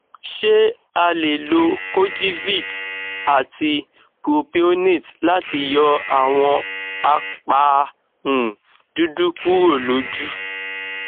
ṣé a lè lo kojivit àti propionate láti yọ àwọn apa um dúdú kúrò lójú